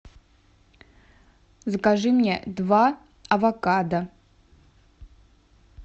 закажи мне два авокадо